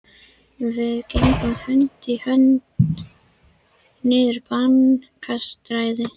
Við gengum hönd í hönd niður Bankastræti.